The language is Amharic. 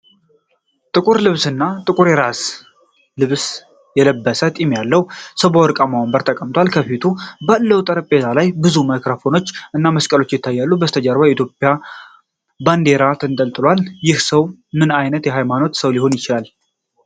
ጥቁር ልብስና ጥቁር የራስጌ ልብስ የለበሰ ጢም ያለው ሰው በወርቃማ ወንበር ተቀምጧል። ከፊቱ ባለው ጠረጴዛ ላይ ብዙ ማይክሮፎኖች እና መስቀል ይታያል። ከበስተጀርባው የኢትዮጵያ ባንዲራ ተንጠልጥሏልና። ይህ ሰው ምን ዓይነት ሃይማኖታዊ ሰው ሊሆን ይችላል?